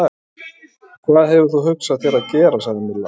Og hvað hefur þú hugsað þér að gera? sagði Milla.